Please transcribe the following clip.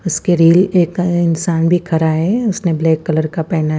उसके रील एक इंसान दिख रहा है उसने ब्लैक कलर का पहना है--